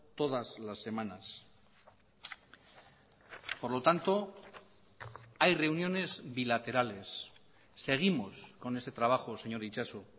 todas las semanas por lo tanto hay reuniones bilaterales seguimos con ese trabajo señor itxaso